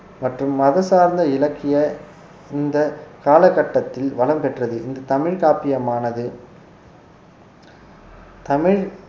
மற்றும் மத சார்ந்த இலக்கிய இந்த காலகட்டத்தில் வளம் பெற்றது இந்த தமிழ் காப்பியமானது தமிழ்